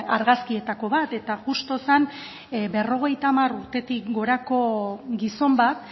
argazkietako bat eta justu zen berrogeita hamar urtetik gorako gizon bat